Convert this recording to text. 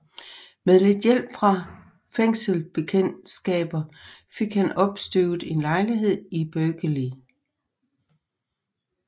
Med lidt hjælp fra fængselsbekendtskaber fik han opstøvet en lejlighed i Berkeley